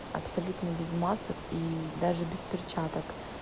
абсолютно без масок и даже без перчаток